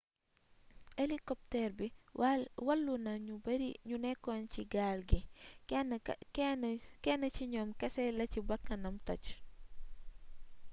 elikopteer bi wàllu na ñu bari ñu nekkoon ci gaal gi kenn ci ñoom kese la ci bakkanam toj